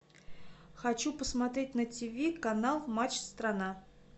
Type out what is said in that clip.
хочу посмотреть на тв канал матч страна